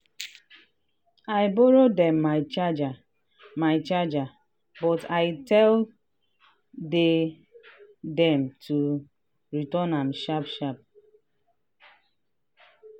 i borrow dem my charger my charger but i tell dey dem to return am sharp sharp.